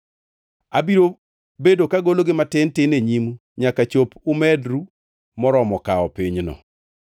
Abiro bedo kagologi matin tin e nyimu, nyaka chop umedru moromo kawo pinyno.